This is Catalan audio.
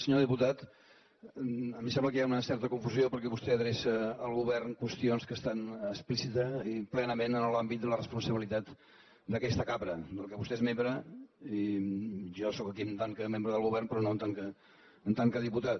senyor diputat a mi em sembla que hi ha una certa confusió perquè vostè adreça al govern qüestions que estan explícitament i plenament en l’àmbit de la responsabilitat d’aquesta cambra de la que vostès és membre i jo sóc aquí en tant que membre del govern però no en tant que diputat